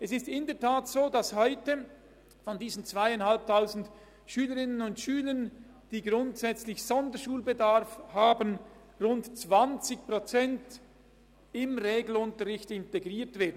Es ist in der Tat so, dass heute von den 2500 Schülerinnen und Schülern, die grundsätzlich Sonderschulbedarf haben, rund 20 Prozent in den Regelunterricht integriert werden.